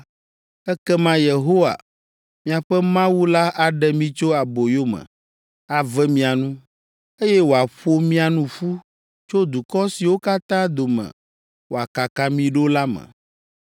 ekema Yehowa, miaƒe Mawu la aɖe mi tso aboyome, ave mia nu, eye wòaƒo mia nu ƒu tso dukɔ siwo katã dome wòakaka mi ɖo la me.